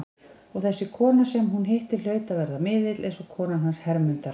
Og þessi kona sem hún hitti hlaut að vera miðill, eins og konan hans Hermundar.